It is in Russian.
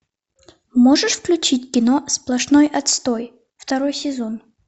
можешь включить кино сплошной отстой второй сезон